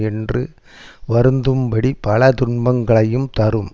என்று வருந்தும்படி பல துன்பங்களையும் தரும்